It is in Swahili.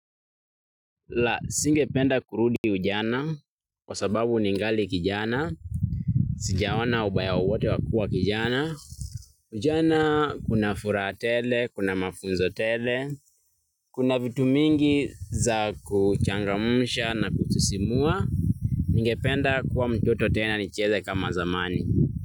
La singependa kurudi ujana kwa sababu ningali kijana, sijaona ubaya wowote wa kua kijana. Ujana kuna furaha tele, kuna mafunzo tele, kuna vitu mingi za kuchangamsha na kusisimua. Ningependa kuwa mtoto tena nicheze kama zamani.